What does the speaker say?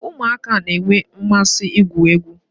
Ụmụaka na-enwe mmasị igwu egwu